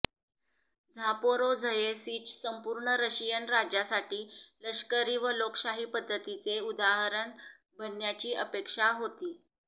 Zaporozhye Sich संपूर्ण Russian राज्यासाठी लष्करी व लोकशाही पद्धतीचे उदाहरण बनण्याची अपेक्षा होती